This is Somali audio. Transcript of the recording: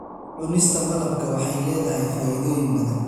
Cunista malabka waxay leedahay faa'iidooyin badan.